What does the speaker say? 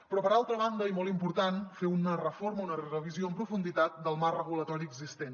però per altra banda i molt important fer una reforma una revisió en profunditat del marc regulatori existent